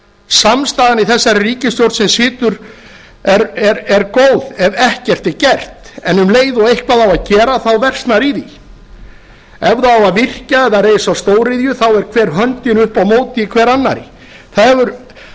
samstaðan í þessari ríkisstjórn sem situr er góð ef ekkert er gert en um leið og eitthvað á að gera þá versnar í því ef á að virkja eða reisa stóriðju þá er hver höndin upp á móti hver annarri það hefur